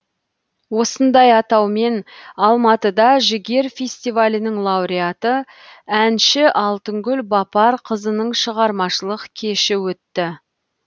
осындай атаумен алматыда жігер фестивалінің лауреаты әнші алтынгүл бапарқызының шығармашылық кеші өтті